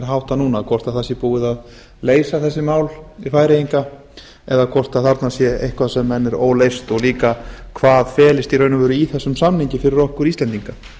háttað núna hvort það sé búið að leysa þessi mál við færeyinga eða hvort þarna sé eitthvað sem enn er óleyst og líka hvað felist í raun og veru í þessum samningi fyrir okkur íslendinga